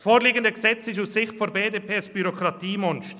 Das vorliegende Gesetz ist aus Sicht der BDP ein Bürokratiemonster.